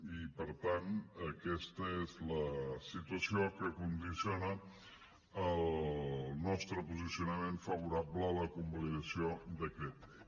i per tant aquesta és la situació que condiciona el nostre posicionament favorable a la convalidació del decret llei